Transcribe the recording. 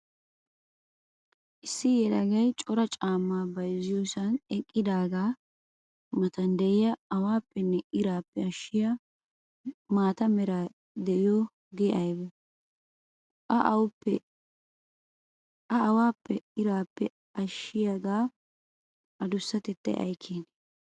Issi yelagay cora caama bayzziyoosan eqqidaaga matan de'iyaa awappenne irappe ashiyaa maata meray de'iyooge aybee? Ha awappenne irappe ashiyaaga adussatettay ay keene?